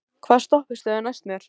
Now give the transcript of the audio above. Ísrún, hvaða stoppistöð er næst mér?